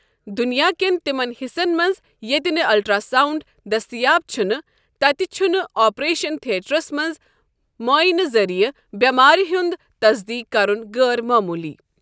دُنیا کٮ۪ن تِمن حِصن منٛز ییٚتہِ نہٕ الٹرٛاساونٛڈ دٔستِیاب چھنہٕ، تتہِ چھ نہٕ آپریشن تھیٹرَس منٛز مُعٲینہٕ ذٔریعہٕ بٮ۪مٲرِ ہٖند تصدیٖق کرن غٲر معموٗلی۔